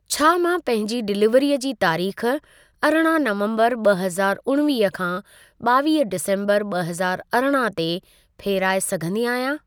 छा मां पंहिंजी डिलीवरीअ जी तारीख़ अरिड़हं नवम्बरु ब॒ हज़ार उणिवीह खां ॿावीह डिसेम्बरु ब॒ हज़ार अरिड़हं ते फेराए सघंदी आहियांं?